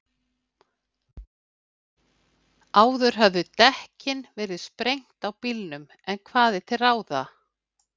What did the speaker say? Áður höfðu dekkin verið sprengt á bílnum, en hvað er til ráða?